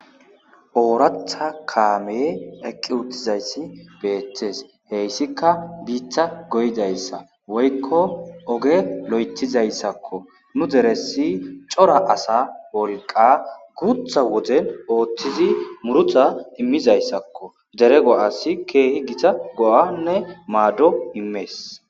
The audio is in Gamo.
ooratha kaame eqqi uttizayssi beettes heyssika biitta goydayssa woykko oge lo7etizayssakko nu deresi cora asa wolqa gutha woden ooththizi murutha immizayssakko dere go7asi keehi gita go7anne maaddo immees